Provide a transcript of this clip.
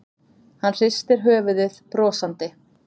Hann hristir höfuðið brosandi.